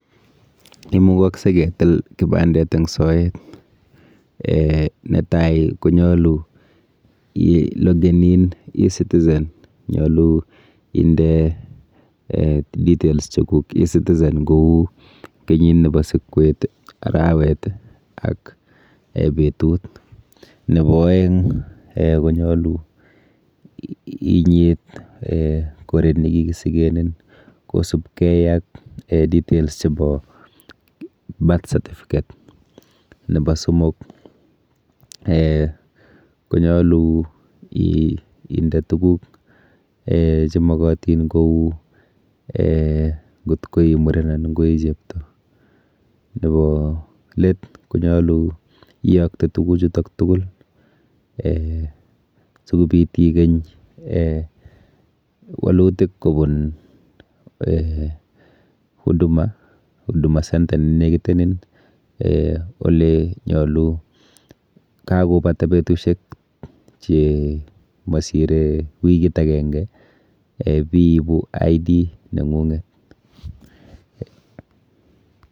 Imugakse ketil kibandet eng' soet. Netai, konyolu ilogen in e-citizen, Nyolu inde details cheguk e-citizen kou kenyit nebo sikwet, arawet, ak betut. Nebo aeng' um konyolu inyit um goret nekigisigenin, kosubkei ak um details chebo birth certificate. Nebo somok um konyolu ii-inde tuguk um che mogotin, kou um ng'ot ko imuren anan koi chepto. Nebo let, konyolu iyokte tuguk chutok tugul um sikobit ikeny um walutik kobun um Huduma, Huduma centre nenekitenin um ole nyolu. Kagobata betushiek che masire wikit ageng'e um biibu ID neng'ung'et.